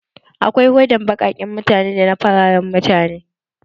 Akwai hodan baƙaken mutane da na fararan mutane.